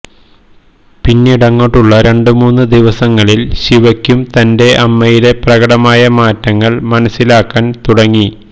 പിന്നീടങ്ങോട്ടുള്ള രണ്ടുമൂന്ന് ദിവസങ്ങളിൽ ശിവക്കും തന്റെ അമ്മയിലെ പ്രകടമായ മാറ്റങ്ങൾ മനസ്സിലാകാൻ തുടങ്ങി